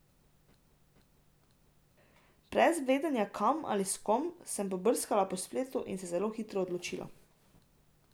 Brez vedenja kam ali s kom, sem pobrskala po spletu in se zelo hitro odločila.